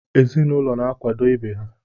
Ezinụlọ na-akwado ibe ha.